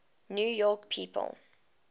new york people